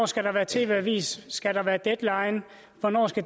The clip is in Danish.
skal være tv avisen skal være deadline hvornår